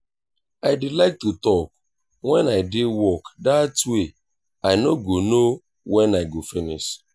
i dey like to talk wen i dey work dat way i no go know wen i go finish